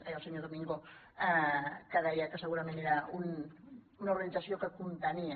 ai el senyor domingo que deia que segurament era una organització que contenia